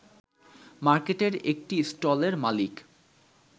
মার্কেটের একটি স্টলের মালিক